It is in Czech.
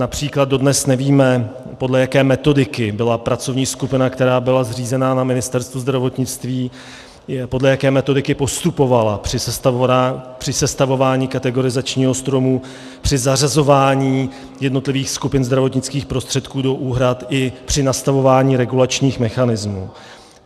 Například dodnes nevíme, podle jaké metodiky byla pracovní skupina, která byla zřízena na Ministerstvu zdravotnictví, podle jaké metodiky postupovala při sestavování kategorizačního stromu, při zařazování jednotlivých skupin zdravotnických prostředků do úhrad i při nastavování regulačních mechanismů.